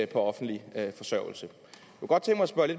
på offentlig forsørgelse